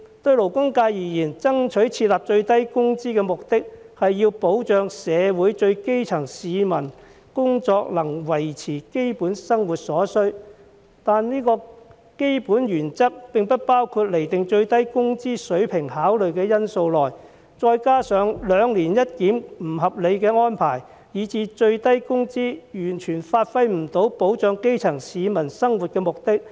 對勞工界而言，爭取設立最低工資的目的，是要保障社會最基層的市民，使其工資能維持其基本生活所需，但這個基本原則並未獲包括於釐定最低工資水平的考慮因素內，這再加上兩年一檢的不合理安排，以致最低工資制度完全發揮不了保障基層市民生活的目的。